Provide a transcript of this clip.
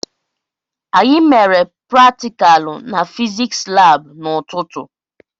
Anyị mere praticalu n'fiziks lab n'ututu m